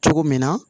Cogo min na